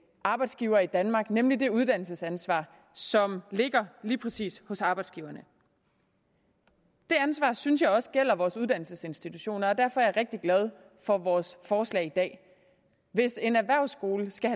arbejdsgiver i danmark nemlig det uddannelsesansvar som ligger lige præcis hos arbejdsgiverne det ansvar synes jeg også gælder vores uddannelsesinstitutioner og derfor er jeg rigtig glad for vores forslag i dag hvis en erhvervsskole skal